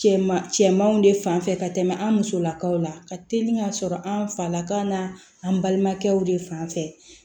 Cɛman cɛmanw de fanfɛ ka tɛmɛ an musolakaw la ka teli ka sɔrɔ an falaka na an balimakɛw de fan fɛ